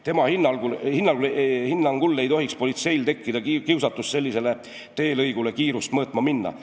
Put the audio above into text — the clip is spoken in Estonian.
Tema hinnangul ei tohiks politseil tekkida kiusatust sellisele teelõigule kiirust mõõtma minna.